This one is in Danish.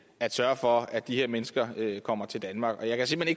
at sørge for at de her mennesker kommer til danmark og jeg kan simpelt